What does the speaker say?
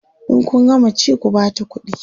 in Kun gama ci ku Bata ƙuɗi